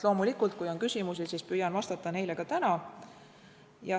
Loomulikult, kui on küsimusi, siis püüan vastata neile ka täna.